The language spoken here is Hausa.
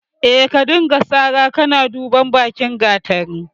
Eh, ka dinga sara kana duban bakin gatari.